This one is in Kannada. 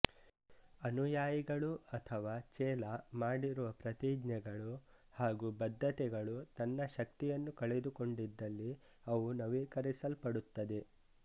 ಅನುಯಾಯಿಗಳು ಅಥವಾ ಚೆಲ ಮಾಡಿರುವ ಪ್ರತಿಜ್ಞೆಗಳು ಹಾಗೂ ಬದ್ಧತೆಗಳು ತನ್ನ ಶಕ್ತಿಯನ್ನು ಕಳೆದುಕೊಂಡಿದ್ದಲ್ಲಿ ಅವು ನವೀಕರಿಸಲ್ಪಡುತ್ತದೆ